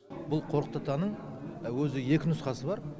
бұл қорқыт атаның өзі екі нұсқасы бар